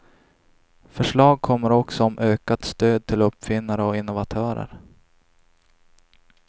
Förslag kommer också om ökat stöd till uppfinnare och innovatörer.